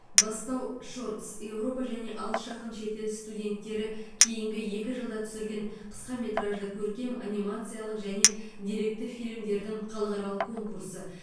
бастау шортс еуропа және алыс жақын шетел студенттері кейінгі екі жылда түсірген қысқаметражды көркем анимациялық және деректі фильмдердің халықаралық конкурсы